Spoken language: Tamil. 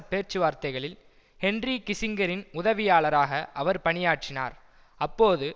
பேச்சுவார்த்தைகளில் ஹென்றி கிஸிங்கரின் உதவியாளராக அவர் பணியாற்றினார் அப்போது